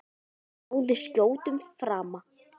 Og náði skjótum frama.